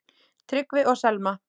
Tryggvi og Selma.